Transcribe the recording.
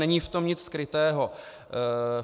Není v tom nic skrytého.